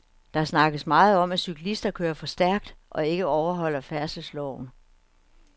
Der snakkes meget om, at cyklister kører for stærkt og ikke overholder færdselsloven.